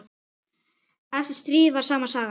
Eftir stríð var sama sagan.